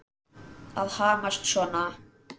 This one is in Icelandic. Að hamast svona.